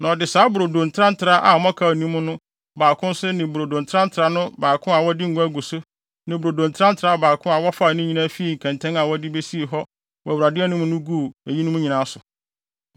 Na ɔde saa brodo ntrantraa a mmɔkaw nni mu no baako nso ne brodo ntrantraa no baako a wɔde ngo agu so ne brodo ntrantraa baako a wɔfaa ne nyinaa fii kɛntɛn a wɔde besii hɔ wɔ Awurade anim no mu guguu eyinom nyinaa so.